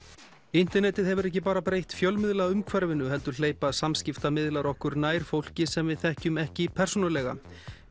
internetið hefur ekki bara breytt fjölmiðlaumhverfinu heldur hleypa samskiptamiðlar okkur nær fólki sem við þekkjum ekki persónulega